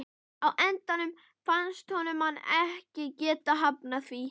Á endanum fannst honum hann ekki geta hafnað því.